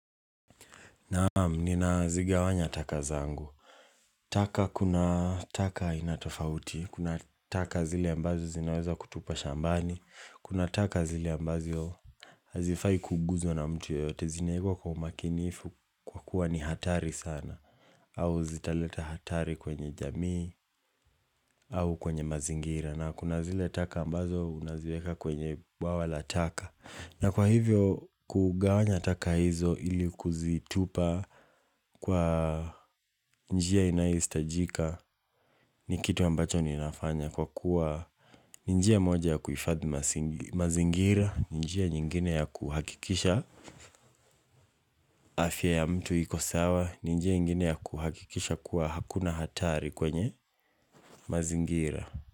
Naamu, nina zigawanya taka zangu. Taka kuna taka inatofauti, kuna taka zile ambazo zinaweza kutupa shambani, kuna taka zile ambazo hazifai kuguzwa na mtu yoyote, zinaekwa kwa umakinifu kuwa ni hatari sana, au zitaleta hatari kwenye jamii, au kwenye mazingira, na kuna zile taka ambazo unaziweka kwenye bwawala taka. Na kwa hivyo, kugawanya taka hizo ili kuzitupa kwa njia inayohistajika ni kitu ambacho ninafanya kwa kuwa njia moja ya kuhifadhi mazingira, njia nyingine ya kuhakikisha afya ya mtu iko sawa, njia nyingine ya kuhakikisha kuwa hakuna hatari kwenye mazingira.